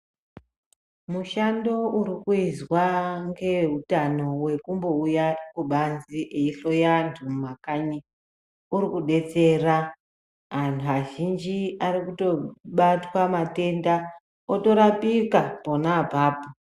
Mushando uri kuizwa ngeutano wekumbo uya kubanze eihloya antu mumakanyi uri kudetsera antu azhinji ari kutobatwa matenda otorapika pona apapo.